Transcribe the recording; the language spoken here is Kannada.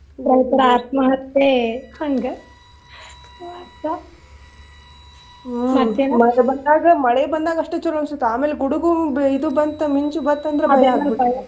ರೈತರ ಆತ್ಮಹತ್ಯೆ ಹಂಗ. ಮತ್ತೆ ಮಳಿ ಬಂದಾಗ ಅಷ್ಟು ಚುಲೊ ಅನಿಸ್ತೇತಿ ಆಮೇಲ್ ಗುಡುಗು ಇದ್ ಬಂತಂದ್ರ ಮಿಂಚು ಬಂತಂದ್ರ